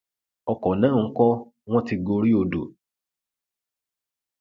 ọkọ náà ńkọ wọn ti gorí odò